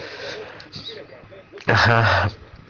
ага